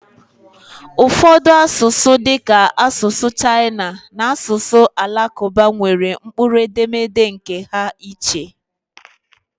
Ụfọdụ asụsụ dịka asụsụ Chaịna na asụsụ Alakụba nwere mkpụrụ edemede nkè ha iche